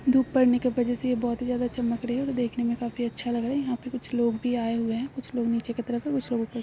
धुप पड़ने की वजह से यह बहोत ही ज्यादा चमक रही है तो देखने में काफी अच्छा लग रहा है यहां पे कुछ लोग भी आये हुए है कुछ लोग नीचे की तरफ है कुछ लोग ऊपर --